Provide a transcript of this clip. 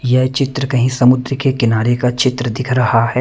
यह चित्र कहीं समुद्र के किनारे का चित्र दिख रहा है।